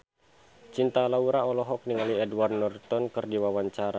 Cinta Laura olohok ningali Edward Norton keur diwawancara